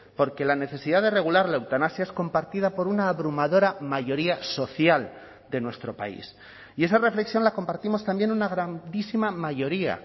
porque la necesidad de regular la eutanasia es compartida por una abrumadora mayoría social de nuestro país y esa reflexión la compartimos también una grandísima mayoría